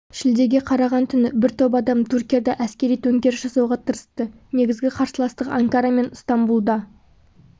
шілдеге қараған түні бір топ адам түркияда әскери төңкеріс жасауға тырысты негізгі қарсыластық анкара мен ыстамбұлда